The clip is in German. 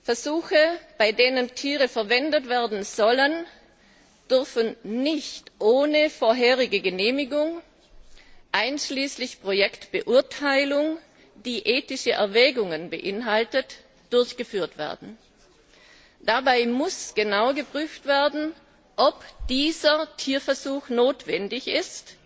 Versuche, bei denen Tiere verwendet werden sollen, dürfen nicht ohne vorherige Genehmigung, einschließlich einer Projektbeurteilung, die ethische Erwägungen beinhaltet, durchgeführt werden. Dabei muss genau geprüft werden, ob ein bestimmter Tierversuch notwendig ist,